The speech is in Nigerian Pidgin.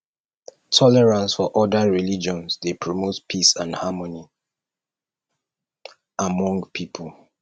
tolerance for oda religions dey promote peace and harmony among pipo